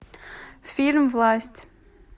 фильм власть